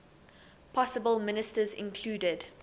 possible ministers included